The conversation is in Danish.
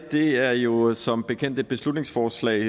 det her er jo som bekendt et beslutningsforslag